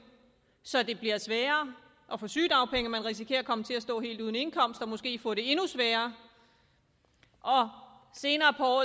så det bliver sværere at få sygedagpenge og man risikerer at komme til at stå helt uden indkomst og måske få det endnu sværere og senere på